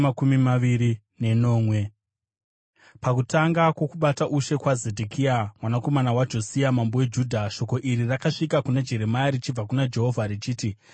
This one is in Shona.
Pakutanga kwokubata ushe kwaZedhekia mwanakomana waJosia mambo weJudha, shoko iri rakasvika kuna Jeremia richibva kuna Jehovha, richiti: